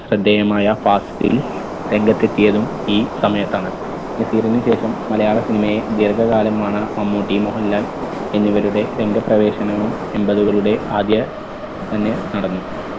ശ്രദ്ധേയമായ ഫാസിൽ രംഗത്തെത്തിയതും ഈ സമയത്താണ്. നസീറിന് ശേഷം മലയാള cinema യെ ദീർഘകാലമാണ് മമ്മൂട്ടി മോഹൻലാൻ എന്നിവരുടെ രംഗപ്രവേശനവും എമ്പതുകളുടെ ആദ്യ തന്നെ നടന്നു.